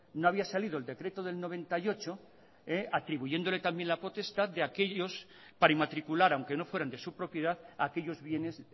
no había salido el decreto del noventa y ocho atribuyéndole también la potestad de aquellos que para inmatricular aunque no fueran de su propiedad a aquellos bienes